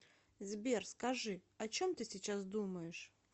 сбер скажи о чем ты сейчас думаешь